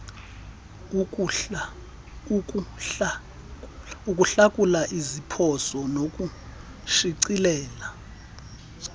ukuhlakula iziphoso nokushicilela